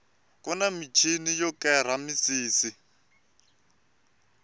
kuni michini yo kera misisi